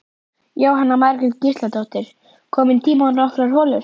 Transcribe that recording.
Jóhanna Margrét Gísladóttir: Kominn tími á nokkrar holur?